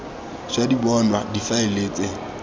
ša di bonwa difaele tse